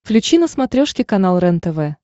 включи на смотрешке канал рентв